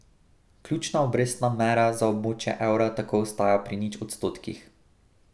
Ključna obrestna mera za območje evra tako ostaja pri nič odstotkih.